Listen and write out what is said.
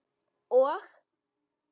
Og?